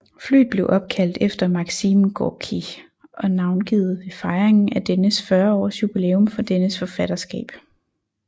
Flyet blev opkaldt efter Maksim Gorkij og navngivet ved fejringen af dennes 40 års juilæum for dennes forfatterskab